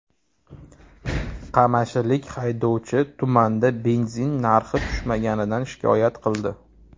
Qamashilik haydovchi tumanda benzin narxi tushmaganidan shikoyat qildi.